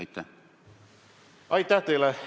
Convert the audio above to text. Aitäh teile!